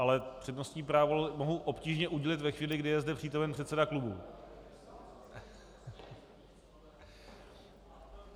Ale přednostní právo mohu obtížně udržet ve chvíli, kdy je zde přítomen předseda klubu...